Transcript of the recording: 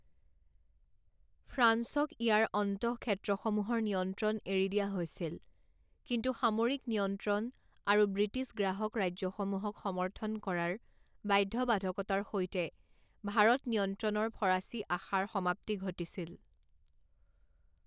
ফ্ৰান্সক ইয়াৰ অন্তঃক্ষেত্ৰসমূহৰ নিয়ন্ত্ৰণ এৰি দিয়া হৈছিল কিন্তু সামৰিক নিয়ন্ত্ৰণ আৰু ব্ৰিটিছ গ্ৰাহক ৰাজ্যসমূহক সমৰ্থন কৰাৰ বাধ্যবাধকতাৰ সৈতে, ভাৰত নিয়ন্ত্ৰণৰ ফৰাচী আশাৰ সমাপ্তি ঘটিছিল।